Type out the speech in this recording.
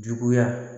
Juguya